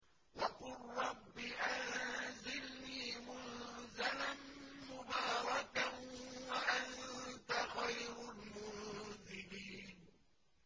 وَقُل رَّبِّ أَنزِلْنِي مُنزَلًا مُّبَارَكًا وَأَنتَ خَيْرُ الْمُنزِلِينَ